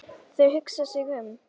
Þau hugsa sig um.